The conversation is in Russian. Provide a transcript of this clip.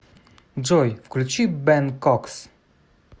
джой включи бэн кокс